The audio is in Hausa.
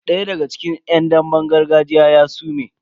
Daya daga cikin yan damben gargajiyan ya sume.